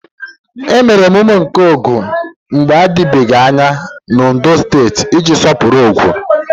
Emere emume nke Ogun mgbe adịbeghị anya na Ondo steeti iji sọpụrụ Ogun.